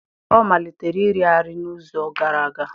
Ọ malitere iri arị n'izu gara aga.